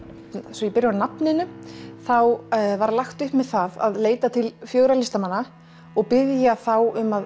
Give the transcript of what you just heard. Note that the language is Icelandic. svo ég byrji á nafninu þá var lagt upp með að leita til fjögurra listamanna og biðja þá um að